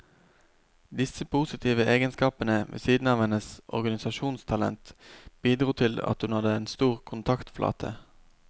Disse positive egenskapene, ved siden av hennes organisasjonstalent, bidro til at hun hadde en stor kontaktflate.